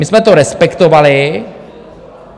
My jsme to respektovali.